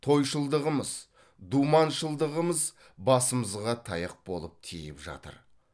тойшылдығымыз думаншылдығымыз басымызға таяқ болып тиіп жатыр